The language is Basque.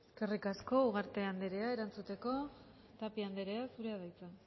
eskerrik asko ugarte anderea erantzuteko tapia anderea zurea da hitza